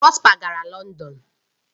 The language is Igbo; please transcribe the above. Prosper gara London